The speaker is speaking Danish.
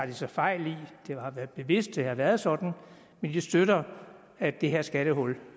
de så fejl det har været bevidst at det har været sådan men de støtter at det her skattehul